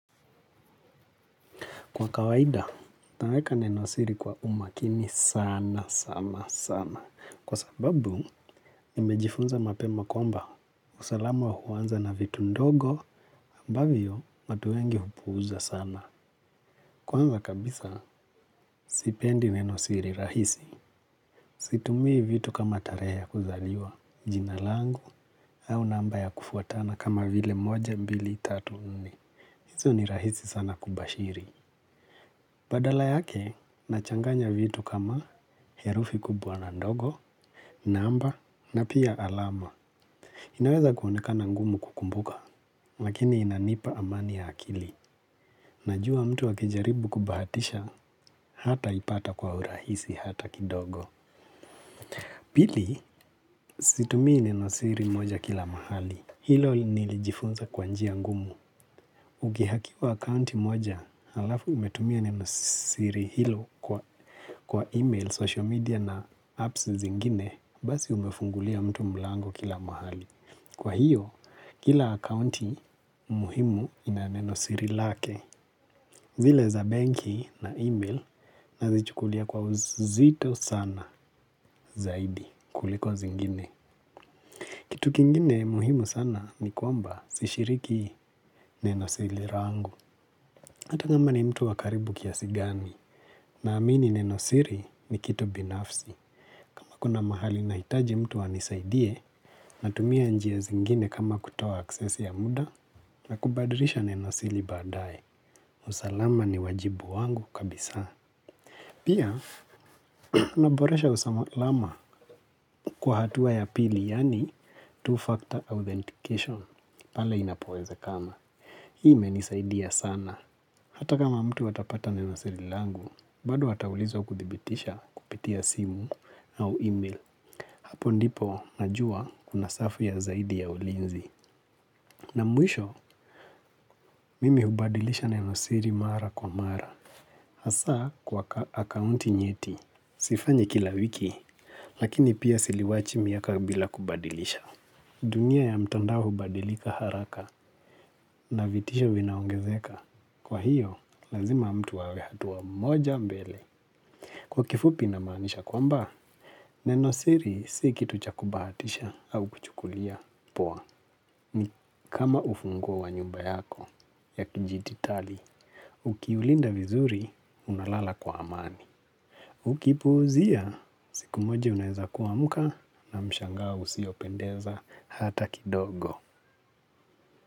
Kwa kawaida, neno siri kwa umakini sana, sana, sana. Kwa sababu, nimejifunza mapema kwamba, usalama huanza na vitu ndogo, ambavyo watu wengi hupuuza sana. Kwanza kabisa, sipendi neno siri rahisi, situmii vitu kama tarehe ya kuzaliwa, jina langu, au namba ya kufuatana kama vile moja, mbili, tatu nne. Hizo ni rahisi sana kubashiri. Badala yake, nachanganya vitu kama herufi kubwa na ndogo, namba, na pia alama. Inaweza kuonekana ngumu kukumbuka, lakini inanipa amani ya akili. Najua mtu akijaribu kubahatisha, hataipata kwa urahisi hata kidogo. Pili, situmii neno siri moja kila mahali. Hilo nilijifunza kwa njia ngumu. Ukiherkiwa akaunti moja, alafu umetumia neno siri hilo kwa email, social media na apps zingine, basi umefungulia mtu mlango kila mahali. Kwa hiyo, kila akaunti muhimu ina neno siri lake. Zile za banki na email nazichukulia kwa uzito sana zaidi kuliko zingine. Kitu kingine muhimu sana ni kwamba sishiriki neno siri rangu. Hata kama ni mtu wa karibu kiasi gani naamini neno siri ni kitu binafsi. Kama kuna mahali nahitaji mtu anisaidie natumia njia zingine kama kutoa aksesi ya muda na kubadilisha neno siri baadaye. Usalama ni wajibu wangu kabisa. Pia, unaboresha usalama kwa hatua ya pili, yani two-factor authentication, pale inapowezekana. Hii imenisaidia sana. Hata kama mtu atapata neno siri langu, bado ataulizwa kudhibitisha kupitia simu au email. Hapo ndipo najua kuna safu ya zaidi ya ulinzi. Na mwisho, mimi hubadilisha neno siri mara kwa mara. Hasa kwa akaunti nyeti, sifanyi kila wiki, lakini pia siliwachi miaka bila kubadilisha. Dunia ya mtandao hubadilika haraka na vitisho vinaongezeka. Kwa hiyo, lazima mtu awe hatua moja mbele. Kwa kifupi namaanisha kwamba, neno siri si kitu cha kubahatisha au kuchukulia. Poa, ni kama ufunguo wa nyumba yako ya kijititali. Ukiulinda vizuri, unalala kwa amani. Ukipuuzia, siku moja unaeza kuamka na mshangao usiopendeza hata kidogo.